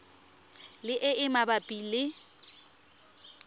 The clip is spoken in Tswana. le e e mabapi le